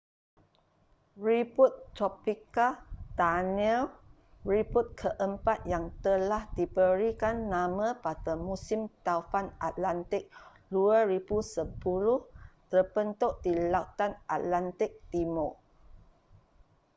ribut tropika danielle ribut keempat yang telah diberikan nama pada musim taufan atlantik 2010 terbentuk di lautan atlantik timur